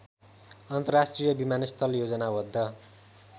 अन्तर्राष्ट्रिय विमानस्थल योजनाबद्ध